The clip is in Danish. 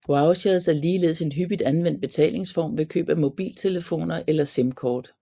Vouchers er ligeledes en hyppigt anvendt betalingsform ved køb af mobiltelefoner eller simkort